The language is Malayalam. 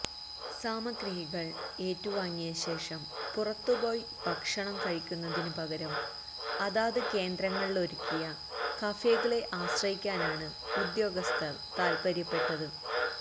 സാമഗ്രികൾ ഏറ്റുവാങ്ങിയശേഷം പുറത്തുപോയി ഭക്ഷണം കഴിക്കുന്നതിന് പകരം അതാത് കേന്ദ്രങ്ങളിലൊരുക്കിയ കഫേകളെ ആശ്രയിക്കാനാണ് ഉദ്യോഗസ്ഥർ താത്പര്യപ്പെട്ടത്